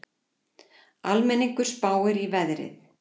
Almenningur spáir í veðrið